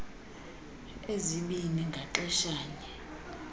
ezibini ngaxesha nye